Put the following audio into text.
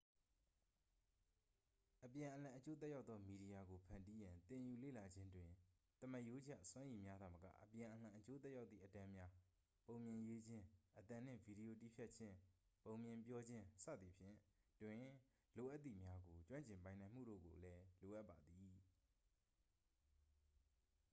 အပြန်အလှန်အကျိုးသက်ရောက်သောမီဒီယာကိုဖန်တီးရန် သင်ယူလေ့လာခြင်းတွင် သမားရိုးကျ စွမ်းရည်များသာမက အပြန်အလှန်အကျိုးသက်ရောက်သည့်အတန်းများ ပုံပြင်ရေးခြင်း၊ အသံနှင့်ဗီဒီယိုတည်းဖြတ်ခြင်း၊ ပုံပြင်ပြောခြင်း၊ စသည်ဖြင့် တွင် လိုအပ်သည်များကို ကျွမ်းကျင်ပိုင်နိုင်မှုတို့ကိုလည်း လိုအပ်ပါသည်။